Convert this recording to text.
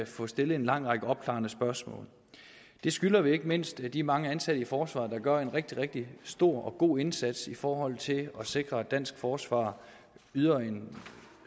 få stillet en lang række opklarende spørgsmål det skylder vi ikke mindst de mange ansatte i forsvaret der gør en rigtig rigtig stor og god indsats i forhold til at sikre at dansk forsvar yder en